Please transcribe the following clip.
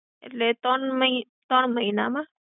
એટલે, ત્રણ મહી, ત્રણ મહિનામાં